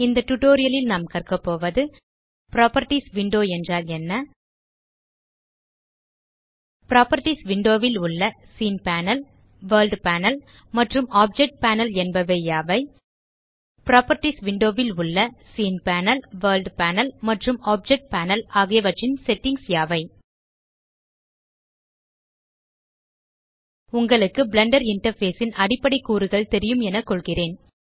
இந்த டியூட்டோரியல் லில் நாம் கற்க போவது புராப்பர்ட்டீஸ் விண்டோ என்றால் என்ன புராப்பர்ட்டீஸ் விண்டோ ல் உள்ள சீன் பேனல் வர்ல்ட் பேனல் மற்றும் ஆப்ஜெக்ட் பேனல் என்பவை யாவை புராப்பர்ட்டீஸ் விண்டோ உள்ள சீன் பேனல் வர்ல்ட் பேனல் மற்றும் ஆப்ஜெக்ட் பேனல் ஆகியவற்றின் செட்டிங்ஸ் யாவை உங்களுக்கு பிளெண்டர் இன்டர்ஃபேஸ் ன் அடிப்படை கூறுகள் தெரியும் என கொள்கிறேன்